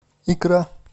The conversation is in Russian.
икра